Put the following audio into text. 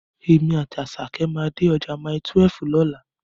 Èmi àti Àṣàkẹ́ máa dé ọjà Mile12 lọ́la.